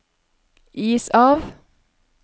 is av